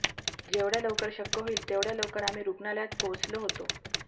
जेवढ्या लवकर शक्य होईल तेवढ्या लवकर आम्ही रुग्णालयात पोहोचलो होतो